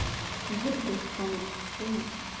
буду тебя спамить понял